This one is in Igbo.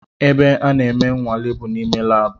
Ebe a na-eme nwale bụ n’ime labu